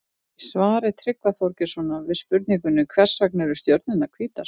Í svari Tryggva Þorgeirssonar við spurningunni Hvers vegna eru stjörnurnar hvítar?